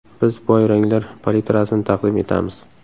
Biz boy ranglar palitrasini taqdim etamiz.